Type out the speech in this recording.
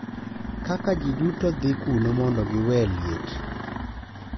Kaka ji duto dhi kuno mondo giwe liet.